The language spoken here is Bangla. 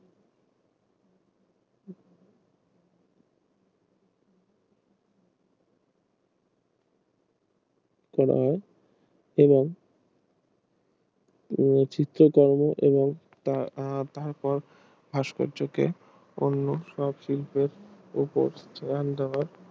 করা হয় এবং চিত্র কর্ম এবং আহ তার পর ভাস্কর্য কে অন্য সব শিল্পের ওপর সমান্তরাল